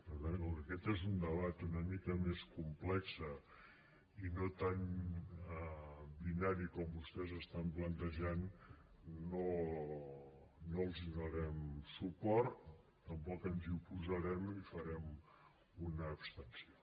per tant com que aquest és un debat una mica més complex i no tant binari com vostès l’estan plantejant no els donarem suport tampoc ens hi oposarem i farem una abstenció